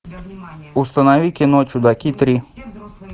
установи кино чудаки три